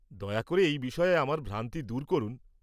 দয়া করে এই বিষয়ে আমার ভ্রান্তি দূর করুন।